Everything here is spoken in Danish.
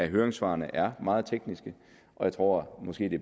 høringssvarene er meget tekniske og jeg tror måske det